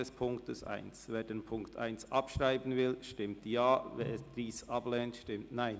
Wer die Ziffer 1 abschreiben will, stimmt Ja, wer dies ablehnt, stimmt Nein.